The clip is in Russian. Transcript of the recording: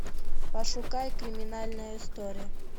пошукай криминальная история